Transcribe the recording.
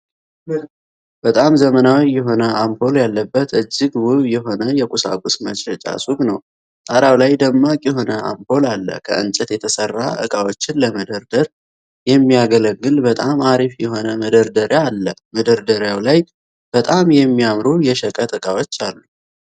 በጣም ዘመናዊ የሆነ አምፖል ያለበት እጅግ ውብ የሆነ የቁሳቁስ መሸጫ ሱቅ ነው። ጣራው ላይ ደማቅ የሆነ አምፖል አለ። ከእንጨት የተሰራ እቃዎችን ለመደርደር የሚያገለግል በጣም አሪፍ የሆነ መደርደሪያ አለ። መደርደሪያው ላይ በጣም የሚያማምሩ የሸቀጥ እቃዎች አሉ።